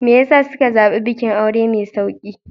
Me ya sa suka zaɓi bikin aure mai sauƙi?